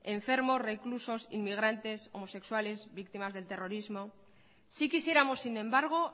enfermos reclusos inmigrantes homosexuales víctimas del terrorismo sí quisiéramos sin embargo